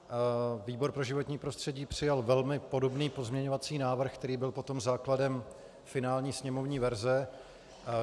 Výbor pro životní prostředí přijal velmi podobný pozměňovací návrh, který byl potom základem finální sněmovní verze.